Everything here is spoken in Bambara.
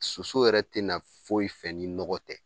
Soso yɛrɛ tɛna foyi fɛ ni nɔgɔ tɛ